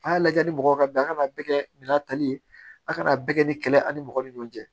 A y'a lajɛ ni mɔgɔ ka bɛn a kana bɛɛ kɛ bina tali ye a kana bɛɛ kɛ ni kɛlɛ ani mɔgɔ ni ɲɔgɔn cɛ